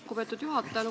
Lugupeetud juhataja!